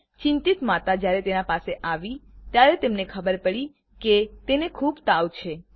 ચિંતિત માતા જયારે તેના પાસે આવી ત્યારે તેમને ખબર પડી કે તેને ખુબ તાવ છે